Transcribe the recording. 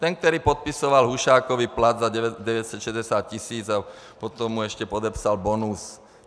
Ten, který podepisoval Hušákovi plat za 960 tis. a potom mu ještě podepsal bonus.